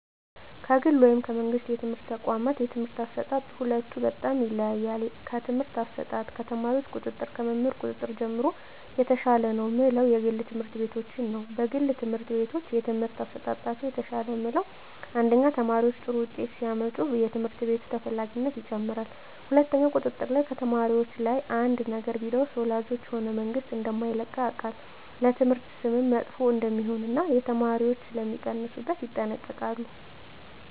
ከግል ወይም ከመንግሥት የትምህርት ተቋዋማት የትምህርት አሰጣጥ የሁለቱ በጣም ይለያያል ከትምህርት አሰጣጥ ከተማሪዎች ቁጥጥር ከመምህር ቁጥጥር ጀምሮ የተሻለ ነው ምለው የግል ትምህርት ቤቶችን ነዉ የግል ትምህርት ቤቶች የትምህርት አሠጣጣቸው የተሻለ ምለው አንደኛ ተማሪዎች ጥሩ ውጤት ሲያመጡ የትምህርት ቤቱ ተፈላጊነት ይጨምራል ሁለትኛው ቁጥጥር ላይ ከተማሪዎች ላይ አንድ ነገር ቢደርስ ወላጆች ሆነ መንግስት እደማይለቀው ያውቃል ለትምህርት ስምም መጥፎ እደሜሆን እና የተማሪዎች ሥለሚቀንሡበት ይጠነቀቃሉ